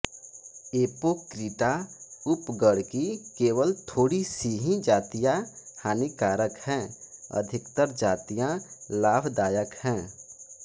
Apocrita उपगण की केवल थोड़ी सी ही जातियाँ हानिकारक हैं अधिकतर जातियाँ लाभदायक हैं